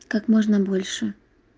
как можно больше